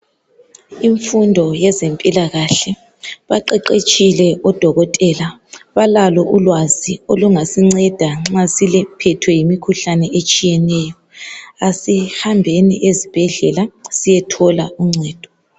Imfundo yezempilakakhe, baqeqetshile odokotela balalo ulwazi ulungasinceda nxa siphethwe yimikhuhlane etshiyeneyo. Asihambeni ezibhedlela siyethola uncedo.